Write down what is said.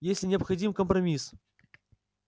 если необходим компромисс